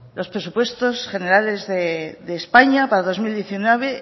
los presupuestos generales de españa para dos mil diecinueve